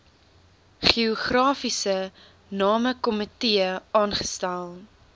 geografiese namekomitee aangestel